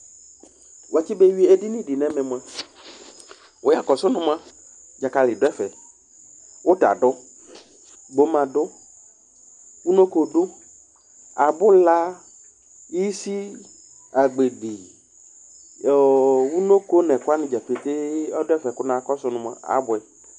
Edini dɩ la nʋ ɛmɛ kʋ ɛkʋ wanɩ atsʋe: dzakali dʋ ɛfɛ, uta dʋ, gboma dʋ, unoko dʋ, abula, isi, agbedi Ɛkʋ wanɩ dza petee kʋ abʋɛ